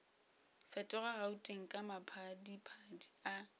fetoga gauteng ka maphadiphadi a